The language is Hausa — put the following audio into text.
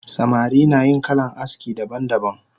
Samari nayin kalan aski daban daban